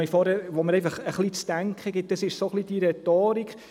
Was mir einfach etwas zu denken gibt, ist diese Rhetorik.